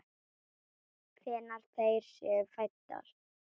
Hvenær þær séu fæddar!